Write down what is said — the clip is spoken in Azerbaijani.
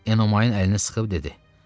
Enomayın əlini sıxıb dedi: